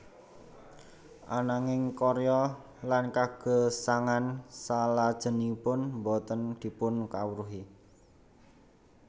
Ananging karya lan kagesangan salajengipun boten dipunkawruhi